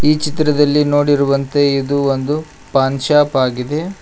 ಈ ಚಿತ್ರದಲ್ಲಿ ನೋಡಿರುವಂತೆ ಇದು ಒಂದು ಫಾನ್ ಶಾಪ್ ಆಗಿದೆ.